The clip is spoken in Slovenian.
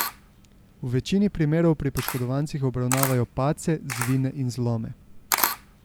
V večini primerov pri poškodovancih obravnavajo padce, zvine in zlome.